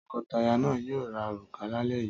Tọkọtaya náà yóò ra òrùka lálẹ́ yìí.